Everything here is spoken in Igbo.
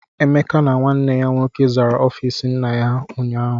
Emeka na nwanne ya nwoke zara ọfiisi nna ha ụnyaahụ.